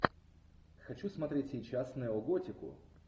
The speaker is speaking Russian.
хочу смотреть сейчас неоготику